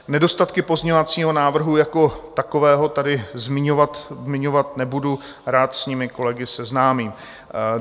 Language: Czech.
Nedostatky pozměňovacího návrhu jako takového tady zmiňovat nebudu, rád s nimi kolegy seznámím.